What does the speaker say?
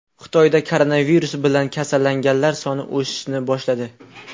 Xitoyda koronavirus bilan kasallanganlar soni o‘sishni boshladi.